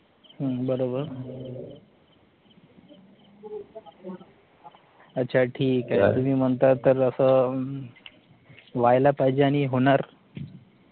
हम्म बरोबर, अच्छा ठीक आहे त्याच्यासाठी, तुम्ही म्हणता, तर असं, व्हायला पाहिजे आणि होणार,